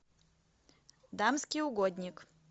дамский угодник